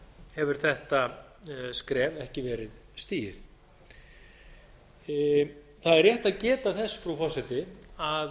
hefur þetta skref ekki verið stigið það er rétt að geta þess frú forseti að